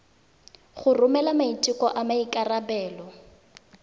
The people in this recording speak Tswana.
go romela maiteko a maikarebelo